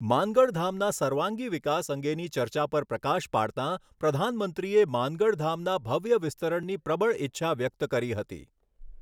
માનગઢધામના સર્વાંગી વિકાસ અંગેની ચર્ચા પર પ્રકાશ પાડતાં પ્રધાનમંત્રીએ માનગઢધામના ભવ્ય વિસ્તરણની પ્રબળ ઇચ્છા વ્યક્ત કરી હતી.